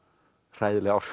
hræðileg áhrif